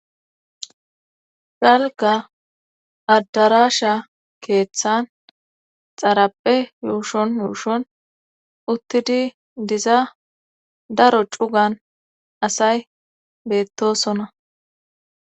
Galka addarasha keeththan xarappe yuushon yuushon uttidi diza daro cugan asay beettosona.